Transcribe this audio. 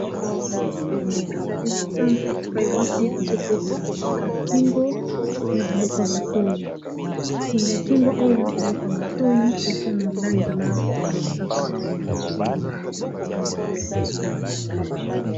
Awa ezali na zando epai wapi bazotekisa singa ya kingo na biloko ya matoyi singa ya kingo oyo na biloko ya matoyi eza na langi la mosaka.